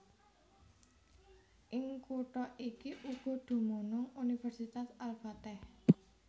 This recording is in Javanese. Ing kutha iki uga dumunung Universitas Al Fateh